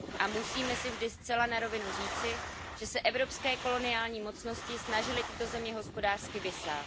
A musíme si vždy zcela na rovinu říci, že se evropské koloniální mocnosti snažily tyto země hospodářsky vysát.